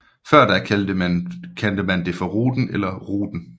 Før da kaldte man det for Ruten eller Routen